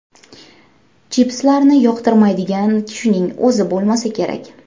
Chipslarni yoqtirmaydigan kishining o‘zi bo‘lmasa kerak.